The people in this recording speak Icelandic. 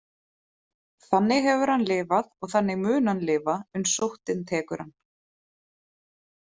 Þannig hefur hann lifað og þannig mun hann lifa uns sóttin tekur hann.